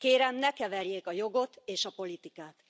Kérem, ne keverjék a jogot és a politikát.